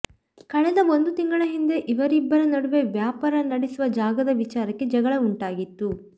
ಕಳೆದ ಒಂದು ತಿಂಗಳ ಹಿಂದೆ ಇವರಿಬ್ಬರ ನಡುವೆ ವ್ಯಾಪಾರ ನಡೆಸುವ ಜಾಗದ ವಿಚಾರಕ್ಕೆ ಜಗಳ ಉಂಟಾಗಿತ್ತು